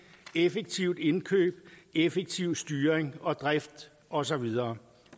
i effektivt indkøb i effektiv styring og drift og så videre